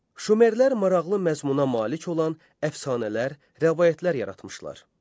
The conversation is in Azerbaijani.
Şumerlər maraqlı məzmuna malik olan əfsanələr, rəvayətlər yaratmışlar.